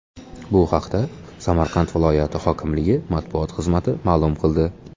Bu haqda Samarqand viloyati hokimligi matbuot xizmati ma’lum qildi .